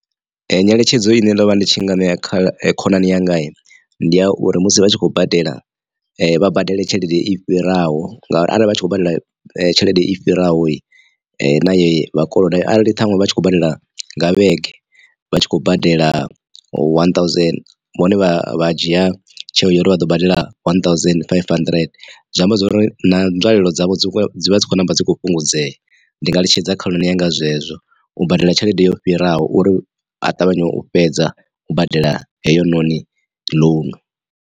Nyeletshedzo ine ndo vha ndi tshi nga ṋea kha khonani yanga ndi ya uri musi vha tshi khou badela vha badele tshelede i fhiraho ngauri arali vha tshi khou badela tshelede i fhiraho na ye vhakoloda arali ṱhaṅwe vha tshi khou badela nga vhege vha tshi khou badela one thousand vhone vha dzhia tsheo ya uri vha ḓo badela one thousand five hundred zwi amba zwori na nzwalelo dzavho dzi dzivha dzi khou ṋamba dzi kho fhungudzea ndi nga eletshedza khonani yanga zwezwo u badela tshelede yo fhiraho uri a ṱavhanye u fhedza u badela heyo noni ḽounu.